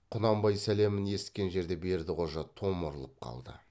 құнанбай сәлемін есіткен жерде бердіқожа томырылып қалды